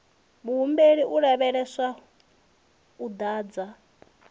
muhumbeli u lavhelelwa u ḓadza